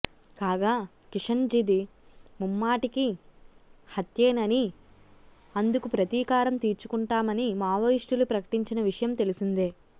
కాగా కిషన్జీది ముమ్మాటికి హత్యేనని అందుకు ప్రతీకారం తీర్చుకుంటామని మావోయిస్టులు ప్రకటించిన విషయం తెలిసిందే